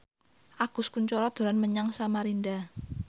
Agus Kuncoro dolan menyang Samarinda